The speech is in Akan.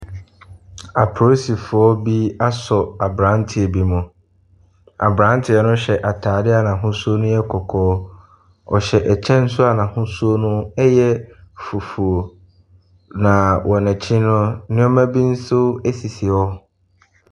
Apoosifoɔ bi aso aberanteɛ bi mu. Aberanteɛ no hyɛ ataadeɛ a ahosuo no yɛ kɔkɔɔ, ɔhyɛ kyɛ nso n’ahosuo no yɛ fufuo. Na wɔn akyi no, nneɛma bi nso sisi hɔ.